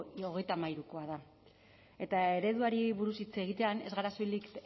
hogeita hamaikakoa da eta ereduari buruz hitz egitean ez gara soilik